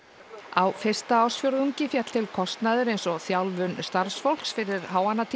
á fyrsta ársfjórðungi féll til kostnaður eins og þjálfun starfsfólks fyrir